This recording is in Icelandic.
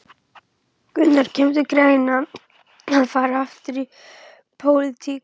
Gunnar: Kemur til greina að fara aftur í pólitík?